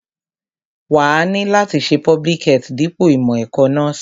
Wàá ni láti ṣe public health dípò ìmọ̀ ẹ̀kọ́ nọ́ọ̀sì